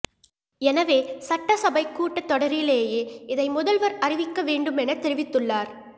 எனவே சட்டசபை கூட்ட தொடரிலேயே இதை முதல்வர் அறிவிக்க வேண்டும் என தெரிவித்துள்ளார்